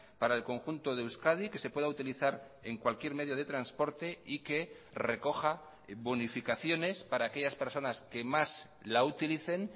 para el conjunto de euskadi que se pueda utilizar en cualquier medio de transporte y que recoja bonificaciones para aquellas personas que más la utilicen